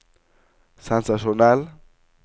sensasjonell